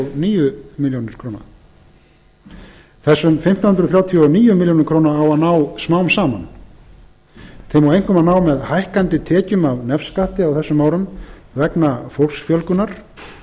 níu milljónir króna á að ná smám saman einkum með hækkandi tekjum af nefskatti á þessum árum vegna fólksfjölgunar